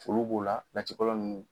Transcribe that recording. Olu b'o la latikɔlɔ ninnu.